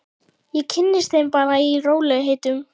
Ég kynnist þeim bara í rólegheitum.